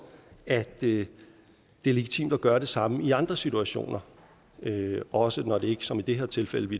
at det er legitimt at gøre det samme i andre situationer også når det ikke som i det her tilfældet